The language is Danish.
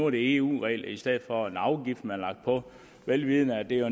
eu regler i stedet for den afgift man har lagt på vel vidende at det jo